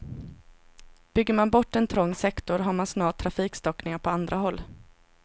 Bygger man bort en trång sektor har man snart trafikstockningar på andra håll.